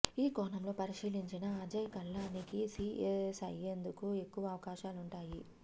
ఈ కోణంలో పరిశీలించినా అజయ్ కల్లానికి సీఎస్ అయ్యేందుకు ఎక్కువ అవకాశాలుంటాయి